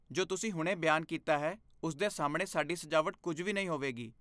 ਜੋ ਤੁਸੀਂ ਹੁਣੇ ਬਿਆਨ ਕੀਤਾ ਹੈ ਉਸ ਦੇ ਸਾਹਮਣੇ ਸਾਡੀ ਸਜਾਵਟ ਕੁਝ ਵੀ ਨਹੀਂ ਹੋਵੇਗੀ।